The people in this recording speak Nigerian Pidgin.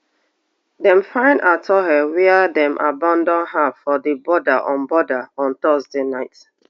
dem find atuhaire wia dem abandon her for di border on border on thursday night